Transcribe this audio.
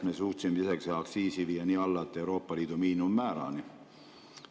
Me suutsime aktsiisi viia lausa Euroopa Liidu miinimummäärani.